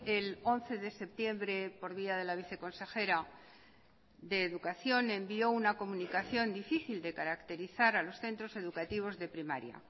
el once de septiembre por vía de la viceconsejera de educación envió una comunicación difícil de caracterizar a los centros educativos de primaria